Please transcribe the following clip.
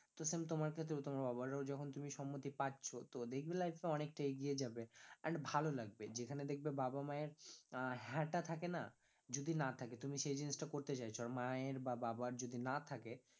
তো same তোমার ক্ষেত্রেও তোমার বাবারও তুমি যখন সম্মতি পাচ্ছ তো দেখবে life এ অনেকটা এগিয়ে যাবে, and ভালো লাগবে যেখানে দেখবে বাবা মায়ের আহ হ্যাঁ টা থাকে না যদি না থাকে তুমি সেই জিনিসটা করতে চাইছো আর মায়ের বা বাবার যদি না থাকে